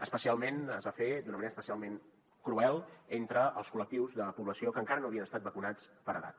especialment es va fer d’una manera especialment cruel entre els col·lectius de població que encara no havien estat vacunats per edat